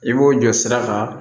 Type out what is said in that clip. I b'o jɔ sira kan